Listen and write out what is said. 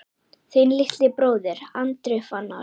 Þinn litli bróðir, Andri Fannar.